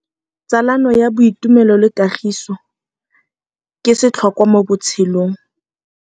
Tsalano ya boitumelo le kagiso ke setlhôkwa mo botshelong.